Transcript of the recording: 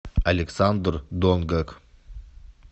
александр донгак